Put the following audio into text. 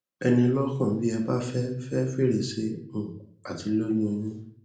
ẹ ní i lọkàn bí ẹ bá fẹ fẹ fèrèsé um àti lóyún un yín